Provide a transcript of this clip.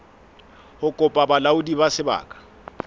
ho kopa bolaodi ba sebaka